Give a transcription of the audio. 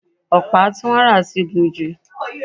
ọ̀pá tí wọ́n rà ti gùn jù